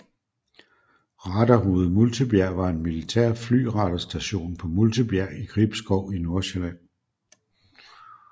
Radarhoved Multebjerg var en militær flyradarstation på Multebjerg i Gribskov i Nordsjælland